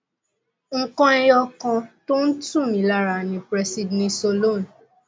nǹkan ẹyọ kan tó ń ń tù mí lára ni presidnisolone